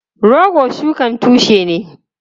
Rogo shukan tushe ne.